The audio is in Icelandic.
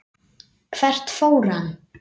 Hvert fór hann?